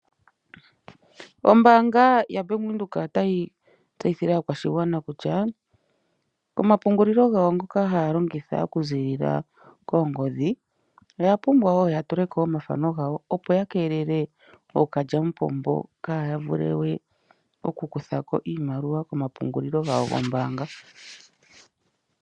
Ombaanga yabank Windhoek otayi tseyithile aakwashigwana kutya omapungulilo gawo ngoka haya longitha oku ziilila koongodhi, oya pumbwa woo oku tula ko omathano gawo opo yakeelele ookalyamupombo, kaaya vule we oku kutha ko iimaliwa kopungulilo gawo gombaanga.